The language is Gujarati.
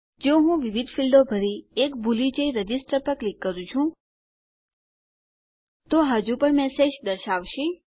જો હું વિવિધ ફીલ્ડો ભરી એક ભૂલી જઈ રજિસ્ટર પર ક્લિક કરું છું તો આ હજુપણ મેસેજ દર્શાવશે